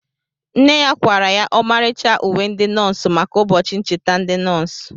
Nne ya kwara ya ọmarịcha uwe ndi nọọsụ maka ụbọchị ncheta ndi nọọsụ